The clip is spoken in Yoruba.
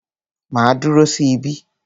Màá dúró sí ibí.